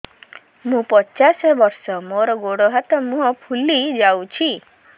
ମୁ ପଚାଶ ବର୍ଷ ମୋର ଗୋଡ ହାତ ମୁହଁ ଫୁଲି ଯାଉଛି